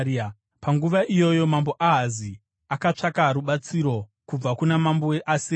Panguva iyoyo mambo Ahazi akatsvaka rubatsiro kubva kuna mambo weAsiria.